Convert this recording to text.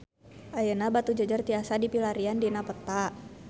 Ayeuna Batujajar tiasa dipilarian dina peta